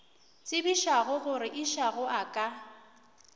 tsebišago gore išago a ka